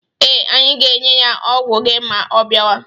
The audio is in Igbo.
Ee, anyị ga-enye ya ọgwụ gị ma ọ biawa.